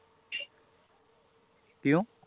ਕਿਉਂ